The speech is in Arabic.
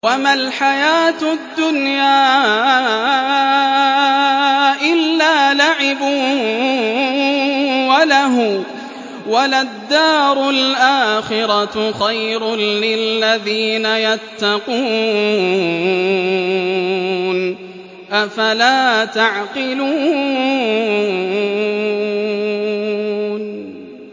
وَمَا الْحَيَاةُ الدُّنْيَا إِلَّا لَعِبٌ وَلَهْوٌ ۖ وَلَلدَّارُ الْآخِرَةُ خَيْرٌ لِّلَّذِينَ يَتَّقُونَ ۗ أَفَلَا تَعْقِلُونَ